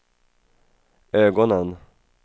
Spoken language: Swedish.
ögonen